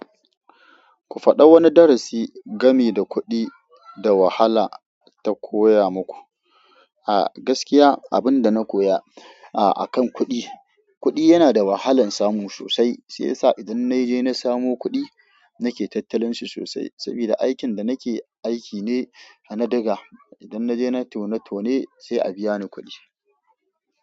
Ku faɗa wani darasi game da kuɗi da wahala ta koya muku. A gaskiya abin da na koya a kan kuɗi, kuɗi yana da wahalan samu sosai. Sai ya sa idan na je na samo kuɗi, nake tattalin su sosai. Sabida aikin da nake aiki ne na diga. Idan na je nai tone-tone sai a biya ni kuɗi.